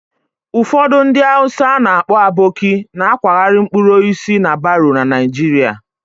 Ụfọdụ ndị Hausa a na-akpọ 'Aboki' na-akwagharị mkpụrụ osisi na baro na Naịjirịa